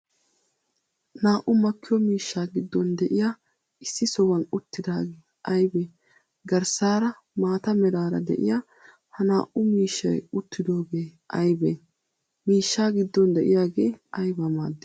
naa'u makkiyo miishshaa giddon de'iya issi sohuwan uttidagee aybee? garssara maataa meraraa de'iya ha naa'u miishshay uttidogee aybee? miishsha giddon de'iaygee ayba maaddi?